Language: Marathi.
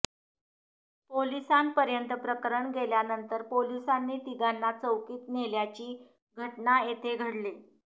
पोलिसांपर्यत प्रकरण गेल्यानंतर पोलिसांनी तिघांना चौकीत नेल्याची घटना येथे घडली